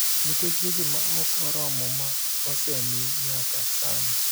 nikech weche ma ok oromo ma osemi nyaka sani.